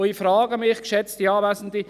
Ich frage mich, geschätzte Anwesende: